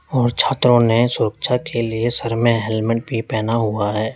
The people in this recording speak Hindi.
और छात्राओ ने सुरक्षा के लिए सर में हेलमेट भी पहना हुआ है।